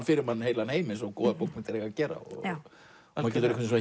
fyrir manni heilan heim eins og góðar bókmenntir eiga að gera maður getur